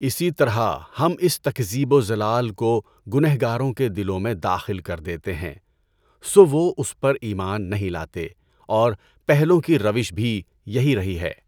اسی طرح ہم اس تکذیب و ضلال کو گنہگاروں کے دلوں میں داخل کر دیتے ہیں سو وہ اس پر ایمان نہیں لاتے اور پہلوں کی روش بھی یہی رہی ہے.